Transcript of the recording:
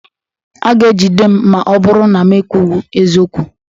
A ga-ejide m ma ọ bụrụ na mụ ekwughi eziokwu.